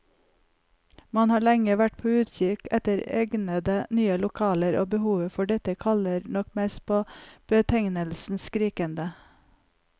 Man har lenge vært på utkikk etter egnede, nye lokaler, og behovet for dette kaller nok mest på betegnelsen skrikende.